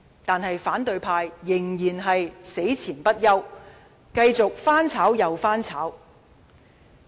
但是，反對派仍然死纏不休，繼續翻炒又翻炒。